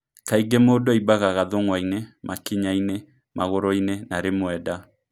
Kaingĩ mũndũ aimbaga gathũng'wa-inĩ, makinya-inĩ, magũrũ-inĩ na rĩmwe nda.